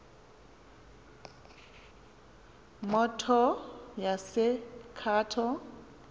motors yase cato